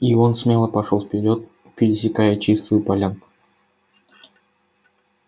и он смело пошёл вперёд пересекая чистую полянку